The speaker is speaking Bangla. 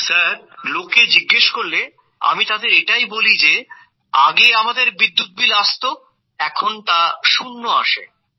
স্যার লোকে জিজ্ঞেস করলে আমি তাদের এটাই বলি যে আগে আমাদের বিদ্যুৎ বিল আসত এখন তা শূন্য আসে